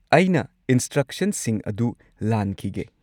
ꯑꯩꯅ ꯏꯟꯁꯇ꯭ꯔꯛꯁꯟꯁꯤꯡ ꯑꯗꯨ ꯂꯥꯟꯈꯤꯒꯦ꯫